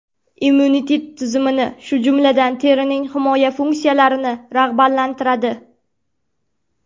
Immunitet tizimini, shu jumladan, terining himoya funksiyalarini rag‘batlantiradi.